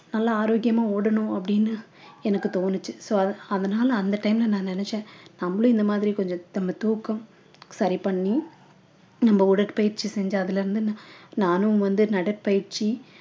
நல்ல ஆரோக்கியமா ஓடணும் அப்படின்னு எனக்கு தோணுச்சு so அத அதனால அந்த time ல நான் நினைச்சேன் நம்மளும் இந்த மாதிரி கொஞ்சம் நம்ம தூக்கம் சரி பண்ணி நம்ம உடற்பயிற்சி செஞ்சு அதிலிருந்து நா~ நானும் வந்து நடை பயிற்சி